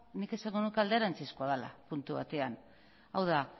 nik esango nuke alderantzizkoa dela puntu batean hau da